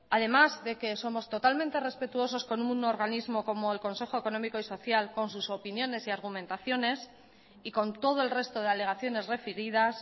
además de que somos totalmente respetuosos con un organismo como el consejo económico y social con sus opiniones y argumentaciones y con todo el resto de alegaciones referidas